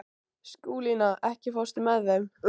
Skúlína, ekki fórstu með þeim?